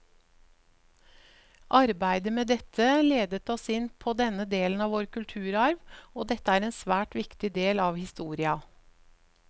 Arbeidet med dette ledet oss inn på denne delen av vår kulturarv, og dette er en svært viktig del av historia.